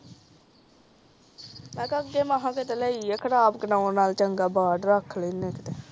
ਮੈਂ ਕਿਹਾ ਅਗੇ ਖਰਾਬ ਕਰਨ ਨਾਲੋਂ ਚੰਗਾ ਭਰ ਰੱਖ ਲਿੰਦੇ ਆ ਕੀਤੇ